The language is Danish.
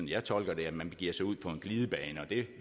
jeg tolker det at man begiver sig ud på en glidebane og det